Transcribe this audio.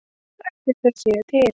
Ætli þau séu til?